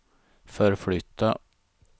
förflytta